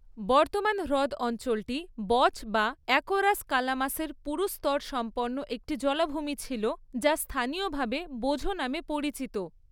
বর্তমান হ্রদ অঞ্চলটি বচ বা অ্যাকোরাস কালামাসের পুরু স্তরসম্পন্ন একটি জলাভূমি ছিল, যা স্থানীয়ভাবে 'বোঝো' নামে পরিচিত।